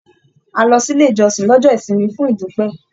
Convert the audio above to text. À lọ sílé ìjọsìn lọ́jọ́ ìsinmi fún idupẹ.